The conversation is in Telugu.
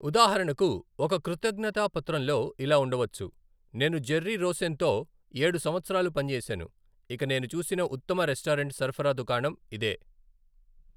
ఉదాహరణకు, ఒక కృతజ్ఞతా పత్రంలో ఇలా ఉండవచ్చు, 'నేను జెర్రీ రోసెన్తో ఏడు సంవత్సరాలు పనిచేశాను, ఇక నేను చూసిన ఉత్తమ రెస్టారెంట్ సరఫరా దుకాణం ఇదే!